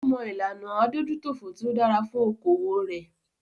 Ó mọ ìlànà adójútòfò tí o dára fún okoòwò rẹ.